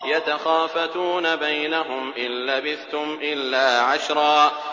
يَتَخَافَتُونَ بَيْنَهُمْ إِن لَّبِثْتُمْ إِلَّا عَشْرًا